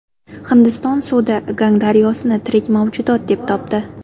Hindiston sudi Gang daryosini tirik mavjudot deb topdi.